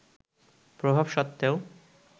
প্রভাব সত্ত্বেও